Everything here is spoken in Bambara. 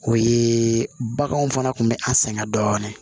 O ye baganw fana kun bɛ an sɛgɛn dɔɔni